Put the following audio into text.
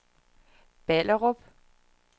Ballerup